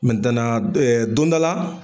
d don dɔ la